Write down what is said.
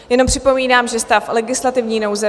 Jenom připomínám, že stav legislativní nouze